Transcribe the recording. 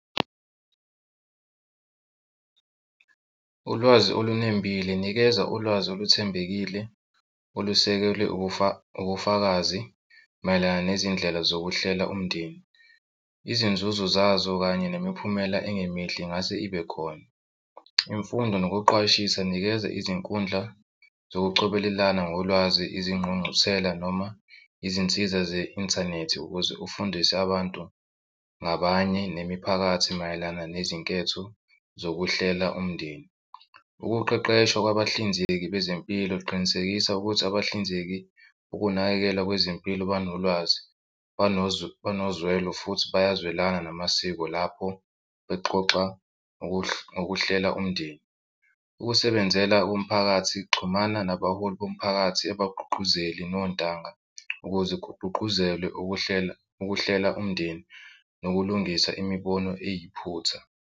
Ulwazi olunembile, nikeza ulwazi oluthembekile olusekelwe ubufakazi mayelana nezindlela zokuhlela umndeni. Izinzuzo zazo kanye nemiphumela engemihle engase ibe khona. Imfundo nokuqwashisa, nikeza izinkundla zokucobelelana ngolwazi izingqungquthela noma izinsiza ze-inthanethi ukuze ufundise abantu ngabanye nemiphakathi mayelana nezinketho zokuhlela umndeni. Ukuqeqeshwa kwabahlinzeki bezempilo qinisekisa ukuthi abahlinzeki ukunakekelwa kwezempilo banolwazi banozwelo futhi bayazwelane namasiko lapho bexoxa ngokuhlela umndeni. Ukusebenzela umphakathi xhumana nabaholi bomphakathi abagqugquzeli nontanga ukuze kugqugquzelwe ukuhlela ukuhlela umndeni nokulungisa imibono eyiphutha.